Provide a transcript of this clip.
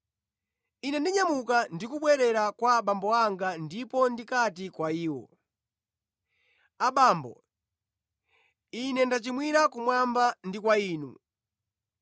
Ine ndinyamuka ndi kubwerera kwa abambo anga ndipo ndikati kwa iwo: abambo, ine ndachimwira kumwamba ndi kwa inu.